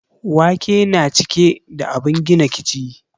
Wake na cike da abun gina kiji